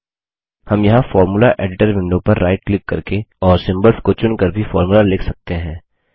हम यहाँ formula editor window पर राइट क्लिक करके और सिम्बल्स को चुनकर भी फॉर्मूला लिख सकते हैं